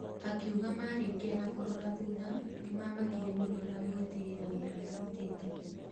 Akiuga marĩkia na kũrora thutha, nĩmamakire mũno na gwĩtĩĩra wĩra marutĩte.